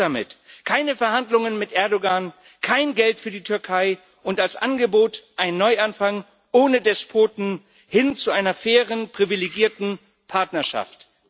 Schluss damit keine Verhandlungen mit Erdoğan, kein Geld für die Türkei und als Angebot einen Neuanfang ohne Despoten, hin zu einer fairen, privilegierten Partnerschaft!